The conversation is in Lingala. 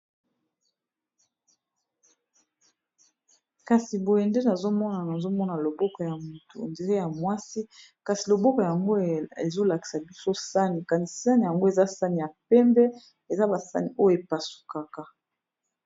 kasi boye nde nazomona nazomona loboko ya moto dire ya mwasi kasi loboko yango ezolakisa biso sani kani sani yango eza sani ya pembe eza basani oyo epasukaka